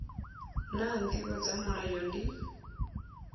naa ndivho dza mulayo ndi